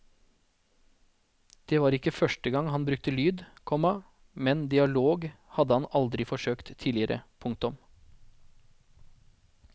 Det var ikke første gang han brukte lyd, komma men dialog hadde han aldri forsøkt tidligere. punktum